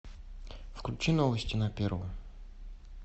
включи новости на первом